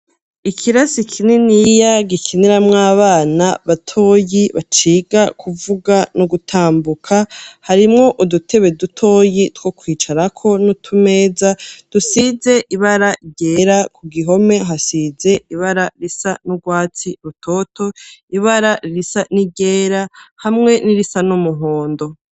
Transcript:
Ikirasi kininiya, gikiniramwo abana batoyi, baciga kuvuga no gutambuka, harimwo udutebe dutoyi two kwicarako, n'utumeza dusize ibara ryera, ku gihome hasize ibara risa n'urwatsi rutoto, ibara risa n'iryera, hamwe n'irisa n'umuhondo.